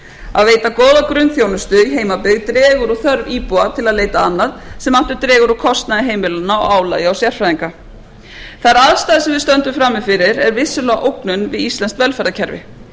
að veita góða grunnþjónustu í heimabyggð dregur úr þörf íbúa til að leita annað sem aftur dregur úr kostnaði heimilanna og álagi á sérfræðinga þær aðstæður sem við stöndum frammi fyrir eru vissulega ógnun við íslenskt velferðarkerfi